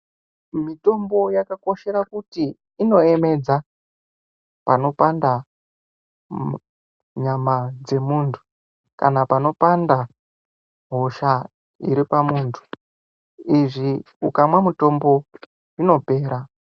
Mitombo yakakoshera kuti inoemedza panopanda nyama dzemunhu kana panopanda hosha iri pamuntu izvi ukamwa mitombo zvinopera.